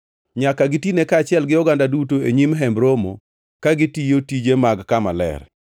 Nyaka gitine kaachiel gi oganda duto e nyim Hemb Romo ka gitiyo tije mag kama ler.